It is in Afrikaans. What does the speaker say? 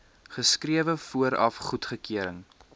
geskrewe vooraf goedkeuring